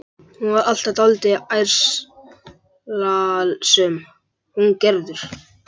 Hún var alltaf dálítið ærslasöm, hún Gerður.